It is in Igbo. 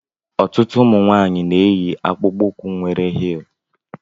Ọtụtụ ụmụnwaanyi na-eyi akpụkpọ ukwu nwere hilú.